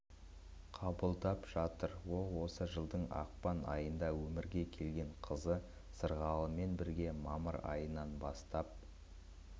қабылдап жатыр ол осы жылдың ақпан айында өмірген келген қызы сырғалыммен бірге мамыр айынан бастап